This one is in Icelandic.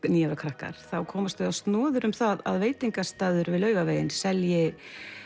níu ára krakkar komast þau á snoðir um það að veitingastaður við Laugaveginn selji